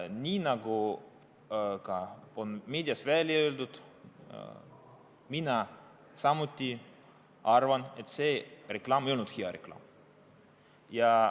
Nii nagu ka meedias on välja öeldud, mina samuti arvan, et see ei olnud hea reklaam.